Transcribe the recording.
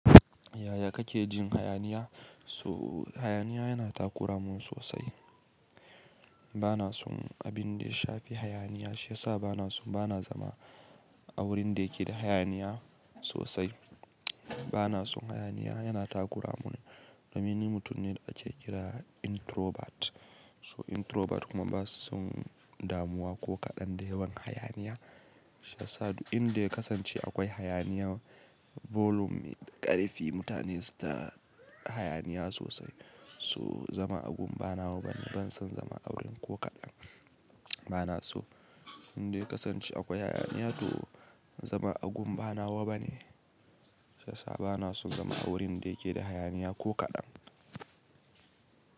Yaya kake jin hayaniya? So hayaniya yana takura mun sosai. Bana son abin da ya shafi hayaniya, shi yasa bana son, bana zama a wurin da yake da hayaniya sosai. Bana son hayaniya yana takura mun. Domin ni mutum ne da ake kira introvert. So introvert kuma ba su son damuwa ko kaɗan da yawan hayaniya. Shi yasa duk inda ya kasance akwai hayaniya, volum me ƙarfi, mutane su ta hayaniya sosai. So zama a gun bana wa bane. Ban son zama a wurin ko kaɗan. Bana so inda ya kasance akwai hayaniya to zama a gun bana wa bane. Shi yasa bana son zama a wurin da yake da hayaniya ko kaɗan.